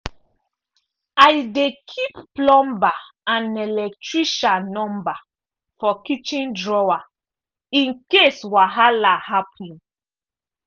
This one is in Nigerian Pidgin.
i dey keep plumber and electrician number for kitchen drawer in case wahala happen.